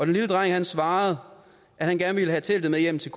lille dreng svarede at han gerne vil have teltet med hjem til